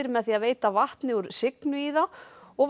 með því að veita vatni úr Signu í þá og